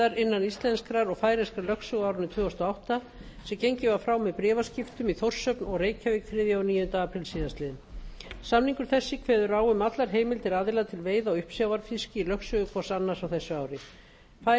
innan íslenskrar og færeyskrar lögsögu á árinu tvö þúsund og átta sem gengið var frá með bréfaskriftum í þórshöfn og reykjavík þriðja og níunda apríl síðastliðinn samningur þessi kveður á um allar heimildir aðila til veiða á uppsjávarfiski í lögsögu hvors annars á þessu ári færeysk skip